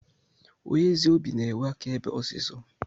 Onye ezi obi na enwe aka ebe osisọ.